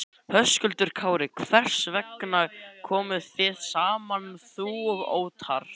Höskuldur Kári: Hvers vegna komuð þið saman þú og Óttarr?